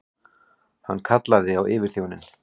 Hann kallaði á yfirþjóninn.